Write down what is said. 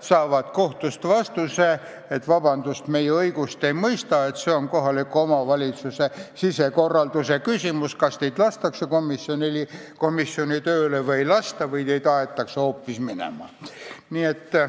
saavad kohtust vastuse, et vabandust, meie õigust ei mõista, see on kohaliku omavalitsuse sisemise töökorralduse küsimus, kas teid lastakse komisjoni tööle või ei lasta või teid aetakse hoopis minema.